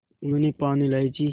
उन्होंने पान इलायची